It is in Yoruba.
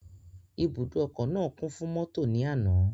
Ibùdó ọkọ̀ náà kún fún mọ́tò ní àná.